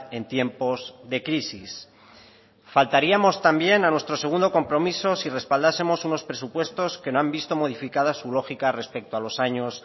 en tiempos de crisis faltaríamos también a nuestro segundo compromiso si respaldásemos unos presupuestos que no han visto modificada su lógica respecto a los años